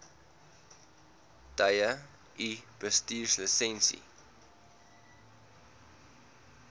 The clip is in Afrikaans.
tye u bestuurslisensie